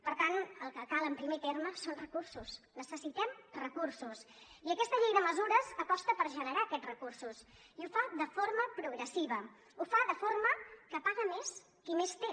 per tant el que cal en primer terme són recursos necessitem recursos i aquesta llei de mesures aposta per generar aquests recursos i ho fa de forma progressiva ho fa de forma que paga més qui més té